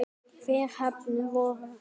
Þeir heppnu voru